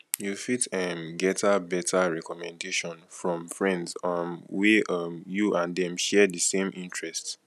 you fit um getter better recommendation from friends um wey um you and dem share di same interest